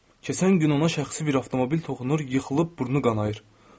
Keçən gün ona şəxsi bir avtomobil toxunur, yıxılıb burnu qanayır.